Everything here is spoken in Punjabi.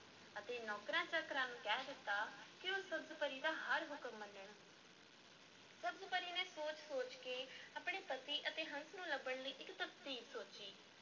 ਅਤੇ ਨੌਕਰਾਂ-ਚਾਕਰਾਂ ਨੂੰ ਕਹਿ ਦਿੱਤਾ ਕਿ ਉਹ ਸਬਜ਼-ਪਰੀ ਦਾ ਹਰ ਹੁਕਮ ਮੰਨਣ ਸਬਜ਼-ਪਰੀ ਨੇ ਸੋਚ-ਸੋਚ ਕੇ ਆਪਣੇ ਪਤੀ ਅਤੇ ਹੰਸ ਨੂੰ ਲੱਭਣ ਲਈ ਇੱਕ ਤਰਕੀਬ ਸੋਚੀ।